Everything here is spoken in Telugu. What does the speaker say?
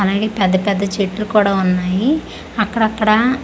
అలాగే పెద్ద పెద్ద చెట్లు కూడా ఉన్నాయి అక్కడక్కడా--